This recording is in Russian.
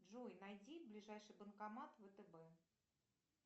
джой найди ближайший банкомат втб